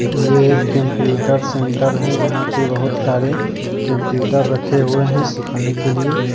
ये एक computer centre है जहां के बहुत सारे कंप्यूटर रखे हुए है सिखाने के लिए।